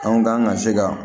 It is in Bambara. Anw kan ka se ka